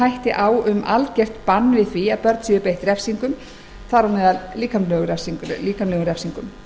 hætti á um algert bann við því að börn séu beitt refsingum þar á meðal líkamlegum refsingum